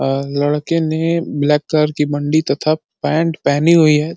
अ लड़के ने black colour की बंडी तथा पैंट पहनी हुई है।